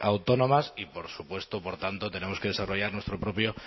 autónomas y por supuesto por tanto tenemos que desarrollar